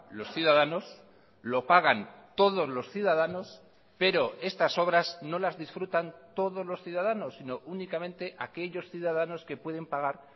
los ciudadanos lo pagan todos los ciudadanos pero estas obras no las disfrutan todos los ciudadanos sino únicamente aquellos ciudadanos que pueden pagar